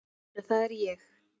En það er ég.